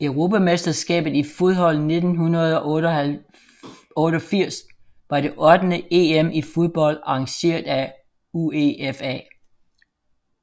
Europamesterskabet i fodbold 1988 var det ottende EM i fodbold arrangeret af UEFA